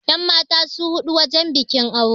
yanmata su haɗu wajen bikin aure